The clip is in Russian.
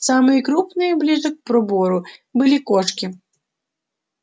самые крупные ближе к пробору были кошки